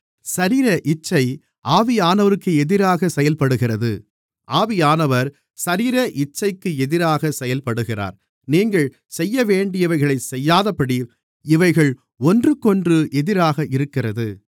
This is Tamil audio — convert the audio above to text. சரீர இச்சை ஆவியானவருக்கு எதிராக செயல்படுகிறது ஆவியானவர் சரீர இச்சைக்கு எதிராக செயல்படுகிறார் நீங்கள் செய்யவேண்டியவைகளைச் செய்யாதபடி இவைகள் ஒன்றுக்கொன்று எதிராக இருக்கிறது